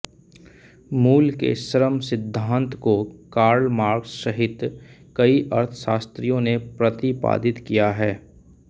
मूल्य के श्रम सिद्धान्त को कार्ल मार्क्स सहित कई अर्थशास्त्रियों ने प्रतिपादित किया है